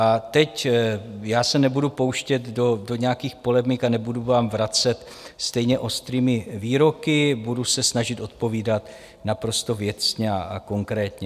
A teď já se nebudu pouštět do nějakých polemik a nebudu vám vracet stejně ostrými výroky, budu se snažit odpovídat naprosto věcně a konkrétně.